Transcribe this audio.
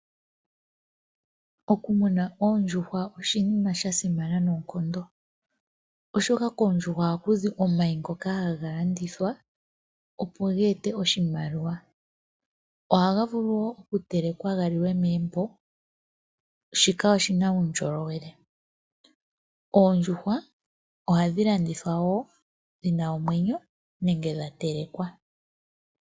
Okumuna oondjuhwa oshinima sha simana noonkondo oshoka koondjuhwa ohaku zi omayi ngoka haga landithwa, opo ge ete oshimaliwa. Ohaga vulu wo oku telekwa ga liwe megumbo, shika oshina uundjolowele. Oondjuhwa ohadhi landithwa wo dhina omwenyo nenge dha telekwa.